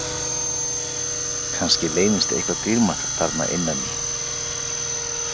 Kannski leynist eitthvað dýrmætt þarna innan í?